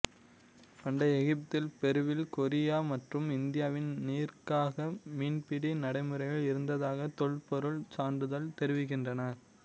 பண்டைய எகிப்தில் பெருவில் கொரியா மற்றும் இந்தியாவில் நீர்க்காக மீன்பிடி நடைமுறையில் இருந்ததாக தொல்பொருள் சான்றுகள் தெரிவிக்கின்றன